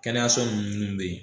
Kɛnɛyaso nunnu mun be yen